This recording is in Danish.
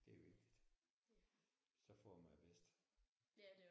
Det er vigtigt. Så får man det bedste